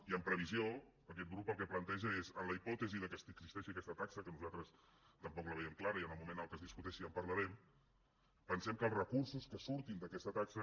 i en previsió aquest grup el que planteja és en la hipòtesi que existeixi aquesta taxa que nosaltres tampoc la veiem clara i en el moment en què es discuteixi ja en parlarem pensem que els recursos que surtin d’aquesta taxa